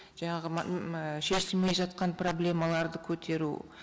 жаңағы шешілмей жатқан проблемаларды көтеру